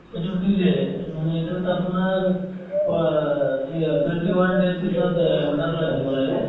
এইটো delay এহ্ মানে এইটোত আপোনাৰ অ এ twenty one day ৰ পিছত অ order লৈ আহিব লাগে